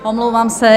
Omlouvám se.